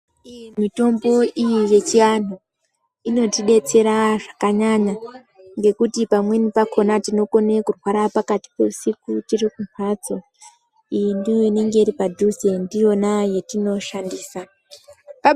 Iih mitombo iyi yechiantu inotidetsera zvakanyanya ngekuti pamweni pakona tinokona kurwara pakati pehusiku tiri kumbatso iyi ndiyo inenge iri padhuze ndiyona yatinoshandisa.